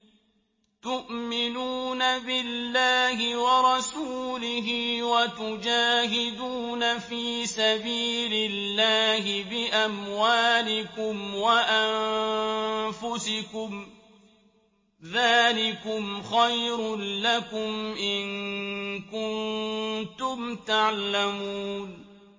تُؤْمِنُونَ بِاللَّهِ وَرَسُولِهِ وَتُجَاهِدُونَ فِي سَبِيلِ اللَّهِ بِأَمْوَالِكُمْ وَأَنفُسِكُمْ ۚ ذَٰلِكُمْ خَيْرٌ لَّكُمْ إِن كُنتُمْ تَعْلَمُونَ